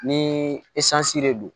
Ni de don